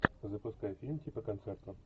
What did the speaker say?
запускай фильм типа концерта